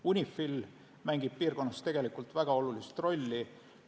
UNIFIL mängib piirkonnas tegelikult väga olulist rolli.